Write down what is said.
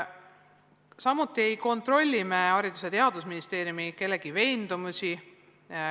Samuti ei kontrolli Haridus- ja Teadusministeerium kellegi veendumusi.